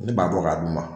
Ne b'a bɔ k'a d'u ma